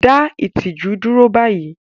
Dá ìtìjú dúró báyìí!